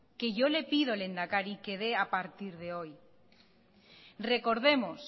que yo le pido lehendakari que dé a partir de hoy recordemos